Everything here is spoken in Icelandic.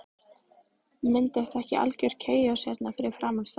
Myndast ekki algjör kaos hérna fyrir framan staðinn?